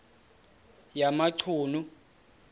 yamachunu